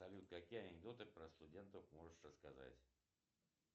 салют какие анекдоты про студентов можешь рассказать